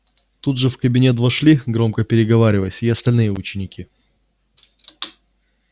тут же в кабинет вошли громко переговариваясь и остальные ученики